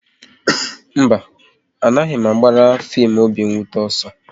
Mba, a na m agbara fim obi nwute ọsọ